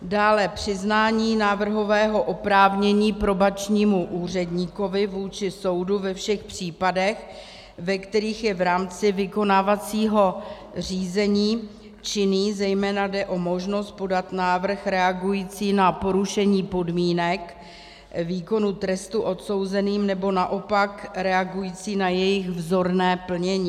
Dále přiznání návrhového oprávnění probačnímu úředníkovi vůči soudu ve všech případech, ve kterých je v rámci vykonávacího řízení činný, zejména jde o možnost podat návrh reagující na porušení podmínek výkonu trestu odsouzeným, nebo naopak reagující na jejich vzorné plnění.